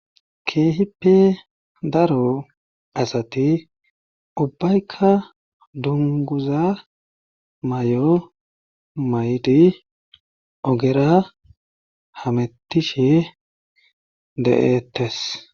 keehippe daro asati ubbaykka dunguza mayo mayti ogera hamettishe de'ettes